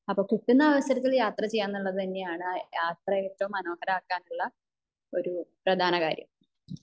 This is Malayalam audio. അപ്പൊ കിട്ടുന്ന അവസരത്തിൽ യാത്ര ചെയ്യാ എന്നുള്ളത് തന്നെയാണ് യാത്ര അത്രയും മനോഹരമാകാനുള്ള ഒരു പ്രധാന കാര്യം